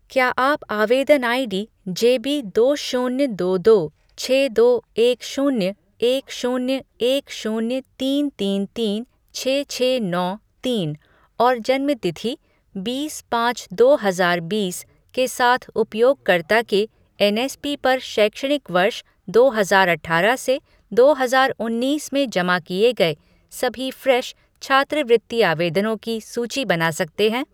क्या आप आवेदन आईडी जेबी दो शून्य दो दो छह दो एक शून्य एक शून्य एक शून्य तीन तीन तीन छह छह नौ तीन और जन्म तिथि बीस पाँच दो हजार बीस के साथ उपयोगकर्ता के एन एस पी पर शैक्षणिक वर्ष दो हजार अठारह से दो हजार उन्नीस में जमा किए गए सभी फ़्रेश छात्रवृत्ति आवेदनों की सूची बना सकते हैं ?